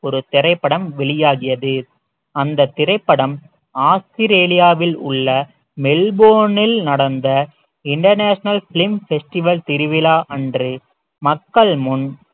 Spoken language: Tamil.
ஒரு திரைப்படம் வெளியாகியது அந்தத் திரைப்படம் ஆஸ்திரேலியாவில் உள்ள மெல்போர்னில் நடந்த international film festival திருவிழா அன்று மக்கள் முன்